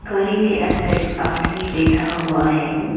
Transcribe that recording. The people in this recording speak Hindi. गाड़ी के अंदर आदमी बैथा हुआ है।